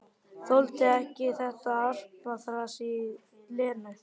Þoldi ekki þetta argaþras í Lenu.